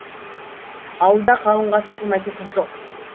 ауылда қалыңға сатылмайтын қыз жоқ